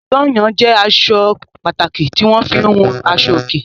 Sányán jẹ́ aṣọ pàtàkì tí wọ́n fi ń hun aṣọòkè.